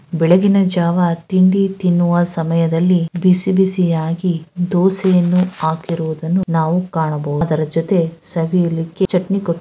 ಬೆಳೆಗ್ಗಿನ ಜಾವಾ ತಿಂಡಿ ತಿನ್ನುವ ಸಮಯದಲ್ಲಿ ಬಿಸಿ ಬಿಸಿಯಾಗಿ ದೋಸೆಯನ್ನು ಹಾಕಿರುವುದನ್ನು ನಾವು ಕಾಣಬಹುದು ಅದರ ಜೊತೆ ಸವಿಯಲಿಕ್ಕೆ ಚಟ್ನಿ ಕೊಟ್ಟಿ --